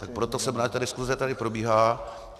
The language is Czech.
Tak proto jsem rád, že ta diskuse tady probíhá.